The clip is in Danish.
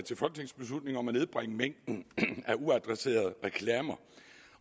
til folketingsbeslutning om at nedbringe mængden af uadresserede reklamer